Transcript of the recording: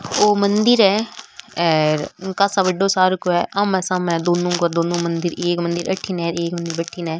वो मंदिर है और आमने सामने है दोनों का दोनों मंदिर एक मंदिर अठीने और एक मंडी भटीने।